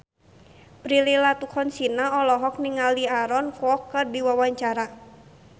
Prilly Latuconsina olohok ningali Aaron Kwok keur diwawancara